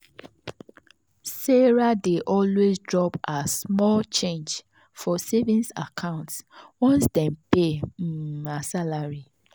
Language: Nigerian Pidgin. sarah dey always drop her small change for savings account once dem pay um her salary.